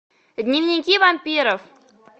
дневники вампиров